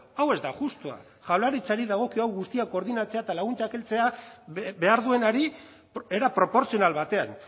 hau ez da justua jaurlaritzari dagokio hau guztia koordinatzea eta laguntzak heltzea behar duenari era proportzional batean